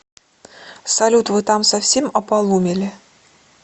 салют вы там совсем ополумели